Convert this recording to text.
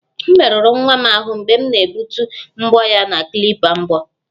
M merụrụ nwa m ahụ mgbe m na-egbutu mbọ ya na klipa mbọ